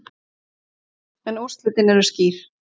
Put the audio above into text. En úrslitin eru skýr.